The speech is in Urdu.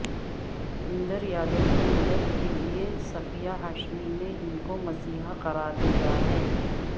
اندر یادو کی مدد کے لیے صفیہ ہاشمی نے ان کو مسیحا قرار دیا ہے